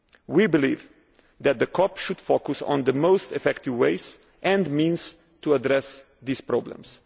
decade. We believe that the COP should focus on the most effective ways and means to address these problems.